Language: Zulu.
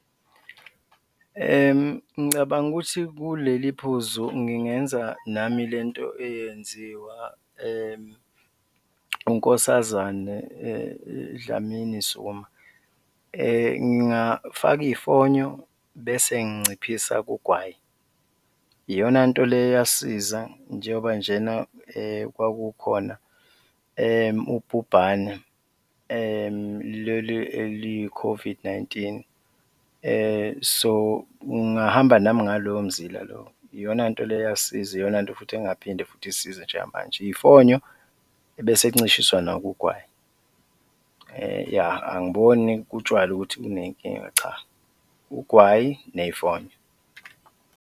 Ngicabanga ukuthi kuleliphuzu ngingenza nami le nto eyenziwa uNkosazane Dlamini Zuma, ngingafaka iy'fonyo bese nginciphisa kugwayi, iyona nto le eyasisiza njengoba njena kwakukhona ubhubhana leli eliyi-COVID-19. So ngingahamba nami ngalowo mzila lowo, iyona nto le eyasisiza iyonanto futhi engaphinde futhi isisize njengamanje, iy'fonyo bese kuncishiswa nabo ugwayi, yah, angiboni kutshwalwa ukuthi kunenkinga, cha, ugwayi ney'fonyo.